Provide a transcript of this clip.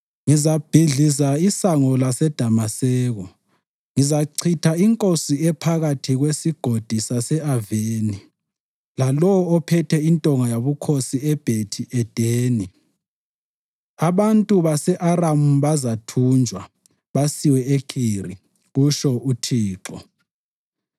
Ngizabhidliza isango laseDamaseko; ngizachitha inkosi ephakathi kweSigodi sase-Aveni lalowo ophethe intonga yobukhosi eBhethi Edeni. Abantu base-Aramu bazathunjwa basiwe eKhiri,” kutsho uThixo.